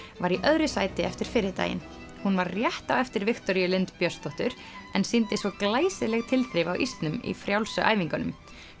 var í öðru sæti eftir fyrri daginn hún var rétt á eftir Viktoríu Lind Björnsdóttur en sýndi svo glæsileg tilþrif á ísnum í frjálsu æfingunum